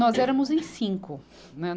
Nós éramos em cinco, né.